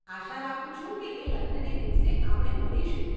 આશા રાખું છું કે એ લગ્નને દિવસે આપણે મળીશું.